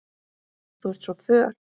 Þú ert svo föl.